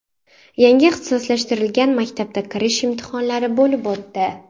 Yangi ixtisoslashtirilgan maktabda kirish imtihonlari bo‘lib o‘tdi.